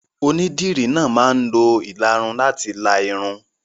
Onídìrí náà máa ń lo ìlarun láti la irun.